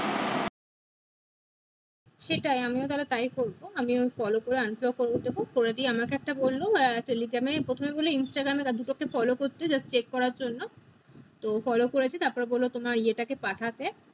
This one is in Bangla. সেটাই আমি ও তাহলে তাই করবো আমি follow করে unfollow করে দিবো করে দিয়ে আমাকে একটা বললো আহ telegram এ প্রথমে বলি instagram এ দুটো কে follow করতে check করার জন্য তো follow করেছি তারপর বললো তোমার এ টাকে পাঠাতে